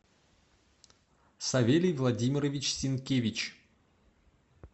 савелий владимирович синкевич